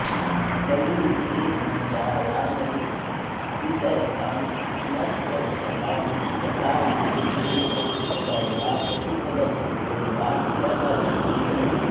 बलिम् ते पूजायामयि वितरतां मर्त्यवसतां सतां सिद्धिः सर्वा प्रतिपदमपूर्वा प्रभवति